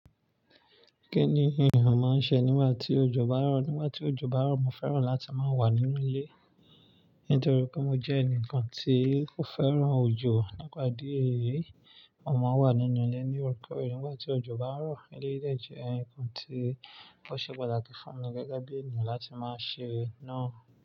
Kí ni èèyàn máa ń ṣe nígbà tí òjò bá rọ̀? Nígbà tí òjò bá rọ̀, mo fẹ́ràn láti máa wà nínú ilé. Nítorí pé mo jẹ́ ẹnìkan tí kò fẹ́ràn òjò nípa idí èyi Mo máa wà nínú ilé ní oòrekoorẹ̀ n gbà tí òjò bá n rọ̀. Eléyi dẹ̀ jẹ ntí ó ṣe pàtàkì fún mi gẹ́gẹ́ bí èniyàn láti máa ṣe náà.